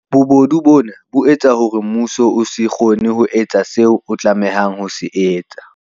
Bobodu bona bo etsa hore mmuso o se kgone ho etsa seo o tlameha ho se etsa.